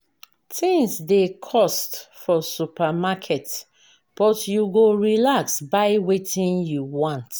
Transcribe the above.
Tins dey cost for supermarket but you go relax buy wetin you want.